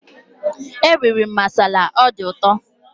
Eriri m masala, ọ dị ụtọ